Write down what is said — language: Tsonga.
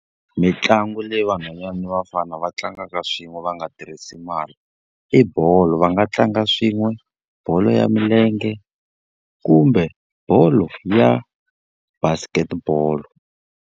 Mitlangu leyi vanhwanyana ni vafana va tlangaka swin'we va nga tirhisi mali, i bolo. Va nga tlanga swin'we bolo ya milenge, kumbe bolo ya basket ball.